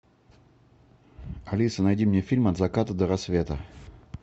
алиса найди мне фильм от заката до рассвета